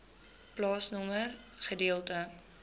plaasnommer gedeelte